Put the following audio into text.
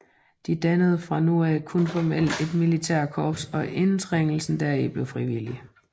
De dannede fra nu af kun formelt et militært korps og indtrædelsen deri blev frivillig